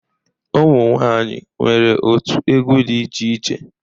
Umụ nwanyị nwere otu egwu dị iche iche